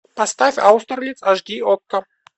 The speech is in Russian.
поставь аустерлиц аш ди окко